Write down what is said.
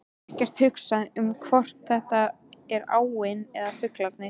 Ekkert hugsa um hvort þetta er áin eða fuglarnir.